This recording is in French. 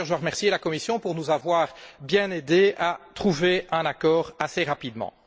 D'ailleurs, je remercie la Commission pour nous avoir aidés à trouver un accord assez rapidement.